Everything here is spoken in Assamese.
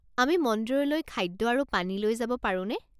আমি মন্দিৰলৈ খাদ্য আৰু পানী লৈ যাব পাৰোনে?